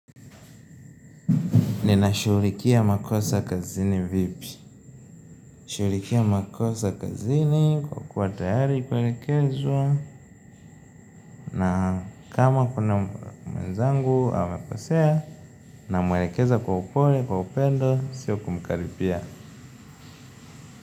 Ninashughulikia makosa kazini vipi? Shughulikia makosa kazini kwa kuwa tayari kuelekewza na kama kuna mwenzangu amekosea, namwelekeza kwa upole, kwa upendo sio kumkaripia.